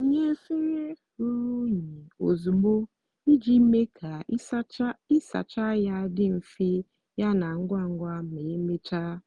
wunye efere ruru unyi ozugbo iji mee ka ịsacha ya dị mfe yana ngwa ngwa ma emechaa.